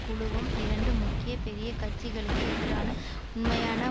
குழுவும் இரண்டு முக்கிய பெரிய கட்சிகளுக்கு எதிரான உண்மையான